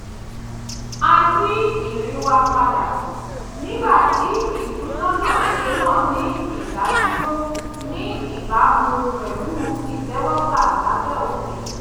a yí ìrìn wa padà nígbà tí ìtúnọ̀nàṣe náà ní ìdádúró ní ìbámu pẹ̀lú ìtẹ́wọ́gbà lábẹ́ òfin